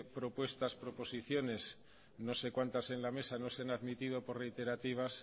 propuestas o proposiciones no sé cuántas en la mesa no se han admitido por reiterativas